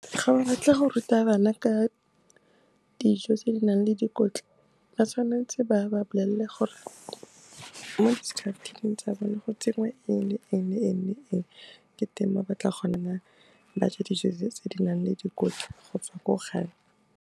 Ga ba batla go ruta bana ka dijo tse di nang le dikotla, ba tshwanetse ba ba bolelela gore mo diskhafthining tsa bone, go tsenngwe eng, le eng, le eng, le eng, ke teng mo ba tla kgonang gore ba je dijo tse di nang le dikotla gotswa ko gae.